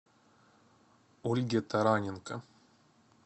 ольге тараненко